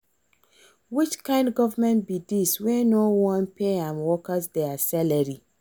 Which kin government be dis wey no wan pay im workers their salary